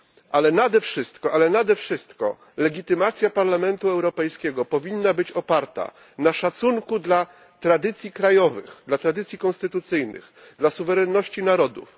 Ale nade wszystko legitymacja Parlamentu Europejskiego powinna być oparta na szacunku dla tradycji krajowych, dla tradycji konstytucyjnych, dla suwerenności narodów.